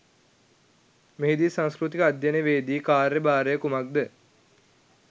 මෙහි දී සංස්කෘතික අධ්‍යයනවේදී කාර්ය භාරය කුමක්ද